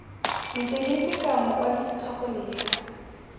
metsweding sekao mokwadi setlhogo letlha